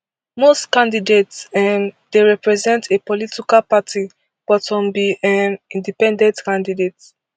most candidates um dey represent a political party but some be um independent candidates